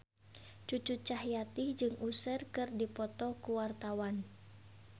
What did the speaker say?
Cucu Cahyati jeung Usher keur dipoto ku wartawan